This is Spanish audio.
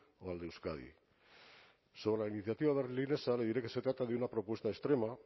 o el de euskadi sobre la iniciativa berlinesa le diré que se trata de una propuesta extrema